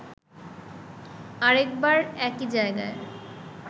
আরেকবার একই জায়গায়